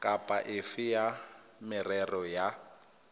kapa efe ya merero ya